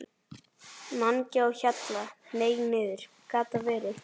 MANGI Á HJALLA, hneig niður. gat það verið?